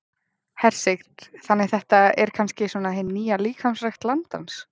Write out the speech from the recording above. Hersir: Þannig þetta er kannski svona hin nýja líkamsrækt landans?